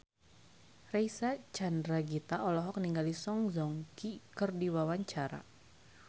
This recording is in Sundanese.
Reysa Chandragitta olohok ningali Song Joong Ki keur diwawancara